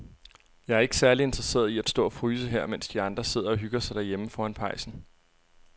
Jeg er ikke særlig interesseret i at stå og fryse her, mens de andre sidder og hygger sig derhjemme foran pejsen.